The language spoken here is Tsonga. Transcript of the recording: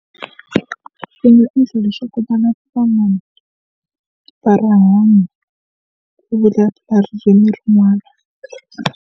Swi nga endla leswaku va rihanyo ku vulavula ririmi rin'wana.